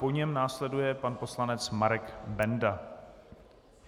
Po něm následuje pan poslanec Marek Benda.